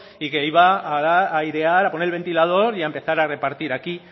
y que iba a airear a poner el ventilador y a empezar a repartir aquí